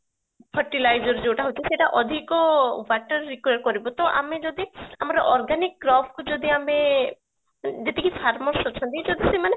fertilizer ଯୋଉଟା ହଉଛି ସେଟା ଅଧିକ water require କରିବ ତ ଆମେ ଯଦି ଆମ organic crop କୁ ଯଦି ଆମେ ଯେତିକି farmers ଅଛନ୍ତି ଯଦି ସେମାନେ